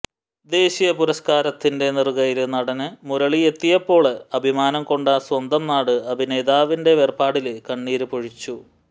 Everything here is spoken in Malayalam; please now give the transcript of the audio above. ദേശീയ പുരസ്കാരത്തിന്റെ നെറുകയില് നടന് മുരളി എത്തിയപ്പോള് അഭിമാനംകൊണ്ട സ്വന്തം നാട് അഭിനേതാവിന്റെ വേര്പാടില് കണ്ണീര് പൊഴിച്ചു